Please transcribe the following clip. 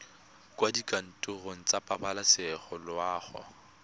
kwa dikantorong tsa pabalesego loago